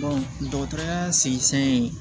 dɔgɔtɔrɔya